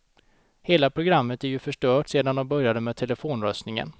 Hela programmet är ju förstört sedan de började med telefonröstningen.